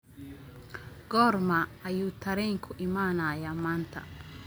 goorma ayuu tareenku imanayaa maanta